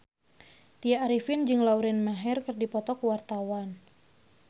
Tya Arifin jeung Lauren Maher keur dipoto ku wartawan